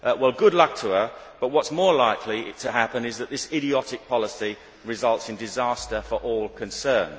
Well good luck to her, but what is more likely to happen is that this idiotic policy results in disaster for all concerned.